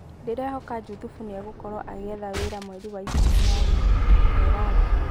Ndĩrehoka Juthubu nĩegũkorwo agĩetha wĩra mweri wa ikũmi-na-umwe ', Teraru.